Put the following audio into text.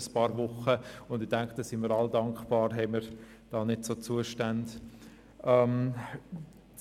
Ich denke, wir sind alle dankbar, dass wir hier keine solchen Zustände haben.